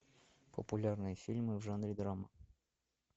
популярные фильмы в жанре драма